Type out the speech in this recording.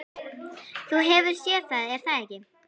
Þú hefur séð það er það ekki?